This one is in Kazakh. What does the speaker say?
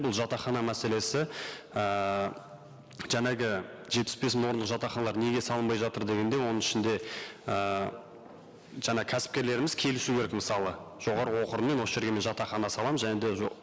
бұл жатақхана мәселесі ііі жаңағы жетпіс мың орындық жатақханалар неге салынбай жатыр дегенде оның ішінде ііі жаңа кәсіпкерлеріміз келісу керек мысалы жоғарғы оқу орынмен осы жерге мен жатақхана саламын және де